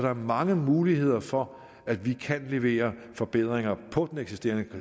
er mange muligheder for at vi kan levere forbedringer på det eksisterende